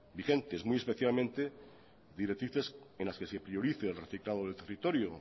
vigentes muy especialmente directrices en las que se priorice el reciclado del territorio